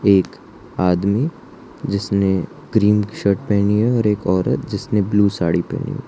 एक आदमी जिसने क्रीम शर्ट पहनी है और एक औरत जिसने ब्लू साड़ी पहनी--